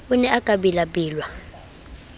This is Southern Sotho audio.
o ne a ka bellaellwa